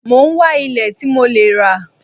Mo ń wá ilẹ̀ tí mo lẹ́ rà